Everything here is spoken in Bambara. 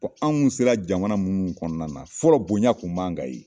anw sera jamana munnu kɔnɔna na fɔlɔ bonya kun b'an kan yen.